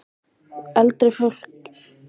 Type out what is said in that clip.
Eldra fólki og börnum er hættast í umferðinni.